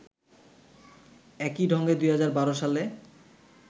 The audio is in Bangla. একই ঢঙে ২০১২ সালে